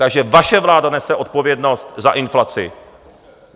Takže vaše vláda nese odpovědnost za inflaci.